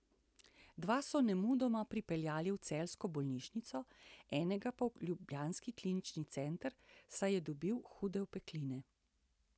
Dva so nemudoma prepeljali v celjsko bolnišnico, enega pa v ljubljanski klinični center, saj je dobil hude opekline.